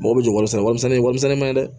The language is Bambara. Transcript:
Mɔgɔw bɛ jɔ wari sara warimisɛn ye warimisɛn ma ye dɛ